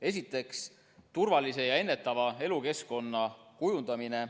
Esiteks, turvalise ja ennetava elukeskkonna kujundamine.